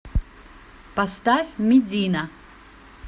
поставь медина